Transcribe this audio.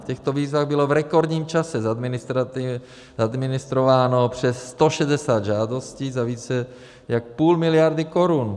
V těchto výzvách bylo v rekordním čase zadministrováno přes 160 žádostí za více jak půl miliardy korun.